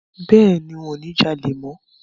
Bẹ́ẹ̀ni, ń ò ní jalè mọ